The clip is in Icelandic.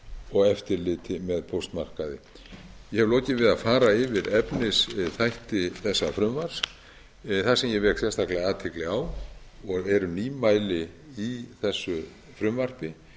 og eftirliti með póstmarkaði ég hef lokið við að fara yfir efnisþætti þessa frumvarps það sem ég vek sérstaklega athygli á og eru nýmæli í þessu frumvarpi